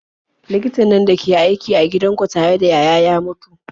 Likitan nan dake aiki a gidan kutare ta yaya ya mutu?